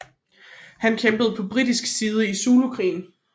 Han kæmpede på britisk side i Zulukrigen